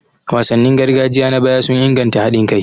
Wasannin gargajiya na baya sun inganta haɗin kai.